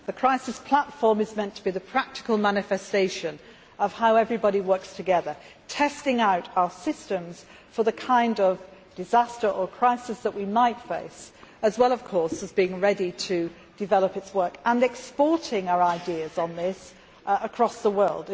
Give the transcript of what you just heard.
The crisis platform is meant to be the practical manifestation of how everybody works together testing our systems for the kind of disaster or crisis that we might face as well as being ready to develop its work and exporting our ideas on this across the world.